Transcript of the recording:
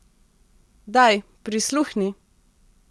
Daj, prisluhni.